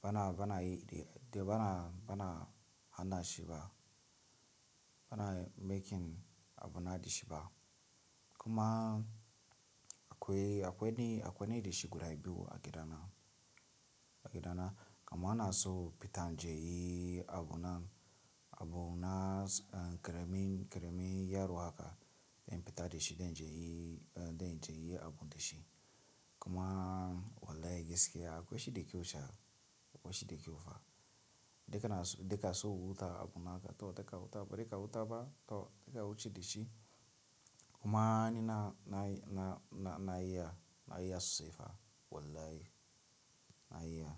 bana, bana yide, da bana, bana hana shi ba. Bana making a bunadi shi ba. Kuma akwai, akwai nide, akwai nide shi guda biyu a gida na, a gida na. Kuma ana so fita je yi a bunan, a buna eh ƙaramin, ƙaramin yaro haka in fita da shi, don je yi, don je yi abu da shi. Kuma wallahi gaskiya akwai shi da ke wucewa, akwai shi da kyau fa. Deka na so, deka so wuta abu naka to daka wuta ba daka wuta ba to daka wuce da shi. Kuma ni na, na, na, na iya, na iya siffa wallahi na iya.